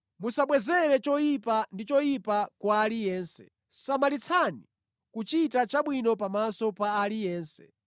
Musabwezere choyipa ndi choyipa kwa aliyense. Samalitsani kuchita chabwino pamaso pa aliyense.